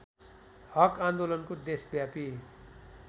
हक आन्दोलनको देशव्यापी